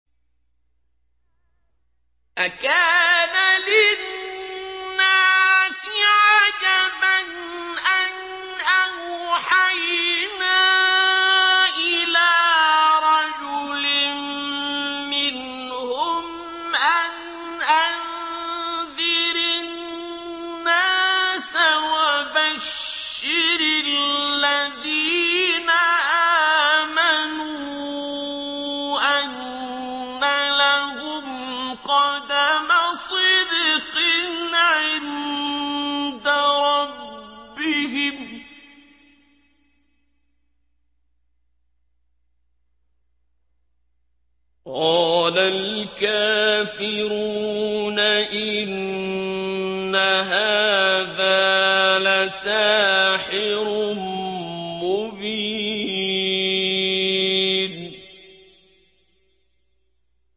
أَكَانَ لِلنَّاسِ عَجَبًا أَنْ أَوْحَيْنَا إِلَىٰ رَجُلٍ مِّنْهُمْ أَنْ أَنذِرِ النَّاسَ وَبَشِّرِ الَّذِينَ آمَنُوا أَنَّ لَهُمْ قَدَمَ صِدْقٍ عِندَ رَبِّهِمْ ۗ قَالَ الْكَافِرُونَ إِنَّ هَٰذَا لَسَاحِرٌ مُّبِينٌ